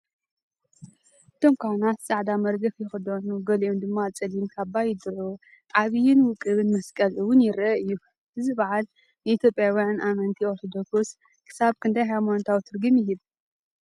እቶም ካህናት ጻዕዳ መርገፍ ይኽደኑ፡ ገሊኦም ድማ ጸሊም ካባ ይድርቡ። ዓብይን ውቁብን መስቀል እውን ይርአ እዩ። እዚ በዓል ንኢትዮጵያውያን ኣመንቲ ኦርቶዶክስ ክሳብ ክንደይ ሃይማኖታዊ ትርጉም ይህብ?